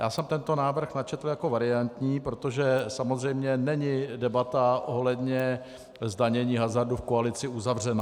Já jsem tento návrh načetl jako variantní, protože samozřejmě není debata ohledně zdanění hazardu v koalici uzavřená.